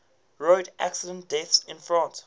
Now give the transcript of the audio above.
road accident deaths in france